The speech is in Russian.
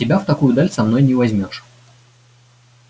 тебя в такую даль с собой не возьмёшь